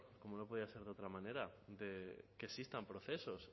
como no podía ser de otra manera de que existan procesos